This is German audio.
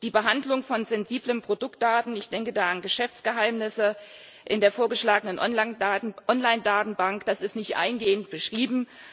Die Behandlung von sensiblen Produktdaten, ich denke da an Geschäftsgeheimnisse in der vorgeschlagenen Online Datenbank, ist nicht eingehend beschrieben.